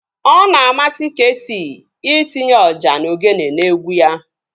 Ọ na-amasị Keesii itinye ọjà na ogene n'egwu ya